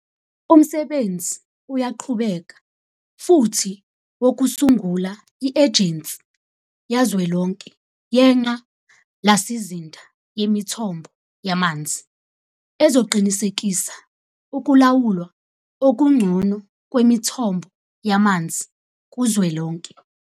Umsebenzi uyaqhubeka futhi wokusungula i-Ejensi Kazwelonke Yengqa lasizinda Yemithombo Yamanzi ezoqinisekisa ukulawulwa okungcono kwemithombo yamanzi kuzwelonke.